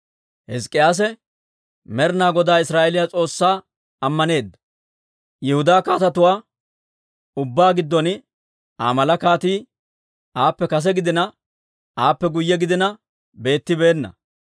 Hizk'k'iyaase Med'ina Godaa Israa'eeliyaa S'oossaa ammaneedda; Yihudaa kaatetuwaa ubbaa giddon Aa mala kaatii aappe kase gidina, aappe guyye gidina beettibeenna.